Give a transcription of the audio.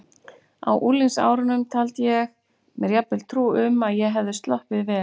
Á unglingsárunum taldi ég mér jafnvel trú um að ég hefði sloppið vel.